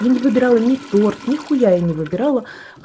я не выбирала не торт нихуя я не выбирала